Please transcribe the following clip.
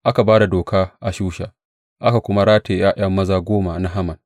Aka ba da doka a Shusha, aka kuma rataye ’ya’ya maza goma na Haman.